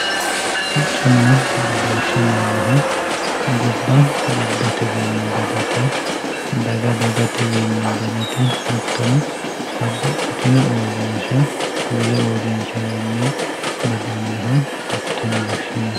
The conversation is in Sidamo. sicconna badooshshe yineemmohu gobba gobbatenni badate daga dagatewiinni badate hattono babbaxxino uurrinsha wole uurrinshawiinni badannoha hatto yine woshshinanni